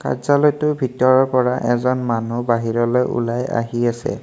কাৰ্য্যালয়টোৰ ভিতৰৰ পৰা এজন মানুহ বাহিৰলৈ ওলায় আহি আছে।